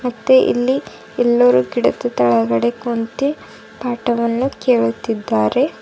ಮತ್ತೆ ಇಲ್ಲಿ ಎಲ್ಲರೂ ಕಿಡಕಿ ತೆಳಗಡೆ ಕುಂತಿ ಪಾಠವನ್ನು ಕೇಳುತ್ತಿದ್ದಾರೆ.